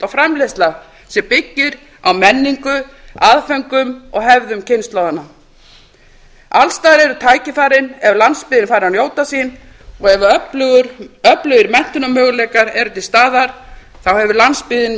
framleiðsla sem byggir á menningu aðföngum og hefðum kynslóðanna alls staðar eru tækifærin ef landsbyggðin fær að njóta sín og ef öflugir menntunarmöguleikar eru til staðar þá hefur landsbyggðin